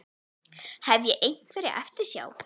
Hef ég einhverja eftirsjá?